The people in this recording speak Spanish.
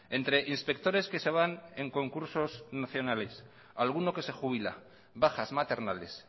entre inspectores que se van en concursos nacionales alguno que se jubila bajas maternales